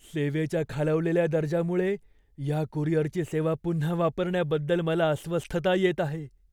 सेवेच्या खालावलेल्या दर्जामुळे या कुरिअरची सेवा पुन्हा वापरण्याबद्दल मला अस्वस्थता येत आहे.